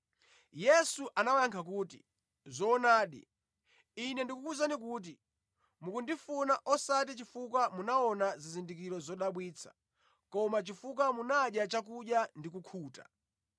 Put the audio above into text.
Yesu anawayankha kuti, “Zoonadi, Ine ndikukuwuzani kuti mukundifuna, osati chifukwa munaona zizindikiro zodabwitsa koma chifukwa munadya chakudya ndi kukhuta.